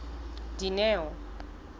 dineo